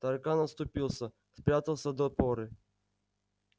таракан отступился спрятался до поры